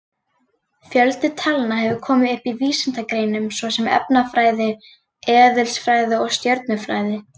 Fjöldi talna hefur komið upp í vísindagreinum svo sem efnafræði, eðlisfræði og stjörnufræði.